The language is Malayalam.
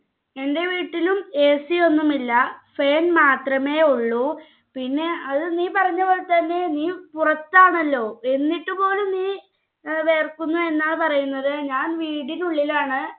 എന്റെ വീട്ടിലും AC യൊന്നും ഇല്ല fan മാത്രമേ ഉള്ളു പിന്നെ അത് നീ പറഞ്ഞപോലെതന്നെ നീ പുറത്താണല്ലോ എന്നിട്ടു പോലും നീ ഏർ വേർക്കുന്നു എന്നാണ് പറയുന്നത് ഞാൻ വീടിന് ഉള്ളിലാണ്